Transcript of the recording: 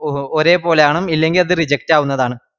ഓ ഒരേപോലവണം ഇല്ലെങ്കിഅത് reject ആവുന്നതാണ്